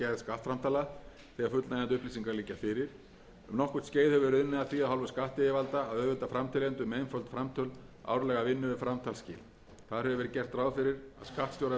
þegar fullnægjandi upplýsingar liggja fyrir um nokkurt skeið hefur verið unnið að því af hálfu skattyfirvalda að auðvelda framteljendum með einföld framtöl árlega vinnu við framtalsskil þar hefur verið gert ráð fyrir að skattstjóra verði heimilt að